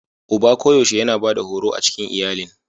Uba koyaushe yana Bada horo a cikin iyalilin.